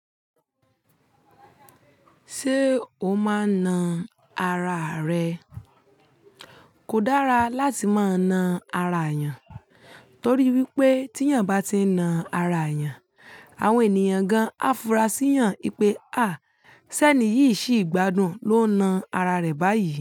Ṣé o máa na ara rẹ? Kò dára láti máa na ara èèyàn, torí wípé tí èèyàn bá ti ń na ara èèyàn, àwọn ènìyàn gan á fura sí ìyàn pé "à, sẹ́ni yìí ṣì gbádùn ló na ara rẹ̀ báyìí".